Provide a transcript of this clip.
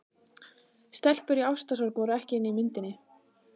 Stelpur í ástarsorg voru ekki inni í myndinni.